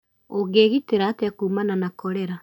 Ũngĩĩgitĩra atĩa kuumana na korera?